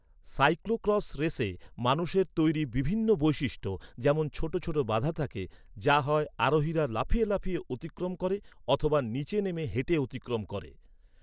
Cyclo cross রেসে মানুষের তৈরি বিভিন্ন বৈশিষ্ট্য যেমন ছোট ছোট বাধা থাকে, যা হয় আরোহীরা লাফিয়ে লাফিয়ে অতিক্রম করে অথবা নিচে নেমে হেঁটে অতিক্রম করে।